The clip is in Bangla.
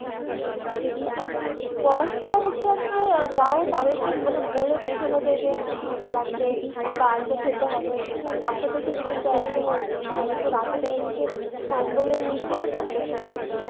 বয়স্করা হচ্ছে আপনার যাহোক তাদেরকে মানে বলে বোঝানো যায় যে হ্যাঁ ঠাণ্ডা লাগবে বা বাচ্চাদের সেটা কিন্তু একদমই উল্টো, তাই জন্য রাতে দেখা গেসে কম্বলের নিচেও থাকতেসে না